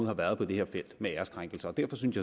har været på det her felt med æreskrænkelser derfor synes